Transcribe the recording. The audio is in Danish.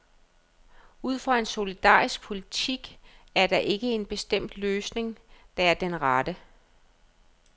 Ud fra en solidarisk politik er der ikke en bestemt løsning, der er den rette.